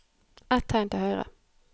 Ett tegn til høyre